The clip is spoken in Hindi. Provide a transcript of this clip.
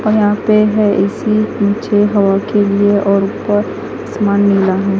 और यहां पे है ए_सी पीछे हवा के लिए और ऊपर आसमान नीला है।